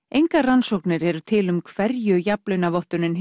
engar rannsóknir eru til um hverju jafnlaunavottunin